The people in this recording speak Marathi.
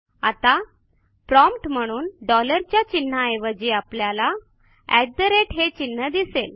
आता प्रॉम्प्ट म्हणून डॉलर च्या चिन्हाऐवजी आपल्याला हे चिन्ह दिसेल